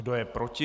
Kdo je proti?